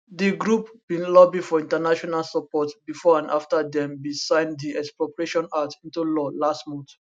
di group bin lobby for international support bifor and afta dem bin sign di expropriation act into law last month